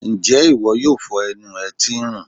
njẹ iwọ yóò fó enú e tí n rùn